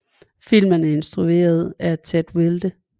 Filmen blev instrueret af Ted Wilde